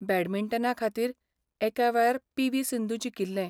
बॅडमिंटना खातीर एका वेळार पी.व्ही.सिंधु जिखिल्लें.